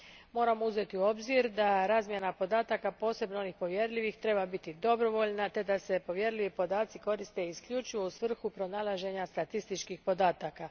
Moramo uzeti u obzir da razmjena podataka, posebno onih povjerljivih, treba biti dobrovoljna te da se povjerljivi podaci koriste isključivo u svrhu pronalaženja statističkih podataka.